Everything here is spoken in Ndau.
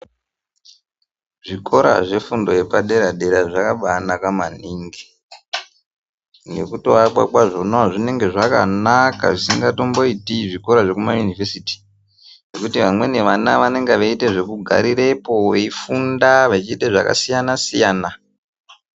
Zvikora zvefundo yepadera-dera zvakambaanaka maningi. Ngekutoakwa kwazvona zvinenge zvakanaka maningi zvisingatomboiti zvikora zvekumayunivhesiti ngekuti vamweni vana vanenge veiite zvekugarirepo, veifunda vechiita zvakasiyana-siyana.